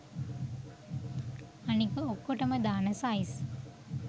අනික ඔක්කොටම දාන සයිස්